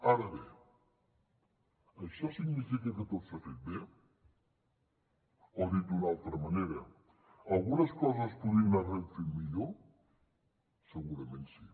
ara bé això significa que tot s’ha fet bé o dit d’una altra manera algunes coses es podrien haver fet millor segurament sí